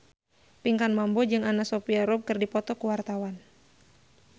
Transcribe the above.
Pinkan Mambo jeung Anna Sophia Robb keur dipoto ku wartawan